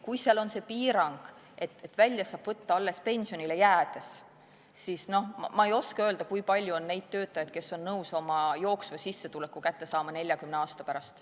Kui seal on see piirang, et välja saab võtta alles pensionile jäädes, siis ma ei oska öelda, kui palju on neid töötajaid, kes on nõus oma jooksva sissetuleku kätte saama 40 aasta pärast.